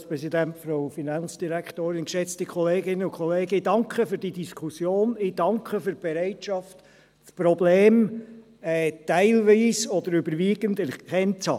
Ich danke für diese Diskussion, ich danke für die Bereitschaft, das Problem teilweise oder überwiegend erkannt zu haben.